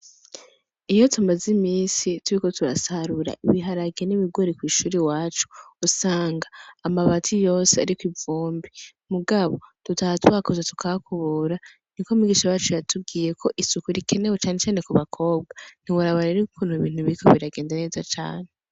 Iyo tumaze imisi turiko turasarura ibiharage n’ibigori kw’ishuri iwacu usanga amabati yose ariko ivumbi , mugabo, dutaha tuhakoze tukahakubura, niko umwigisha wacu yakubwiye ko isuku rikenewe cane cane kubakobwa. Ntiworaba rero ukuntu ibintu biriko biragenda neza cane.